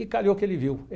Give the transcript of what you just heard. E calhou que ele viu.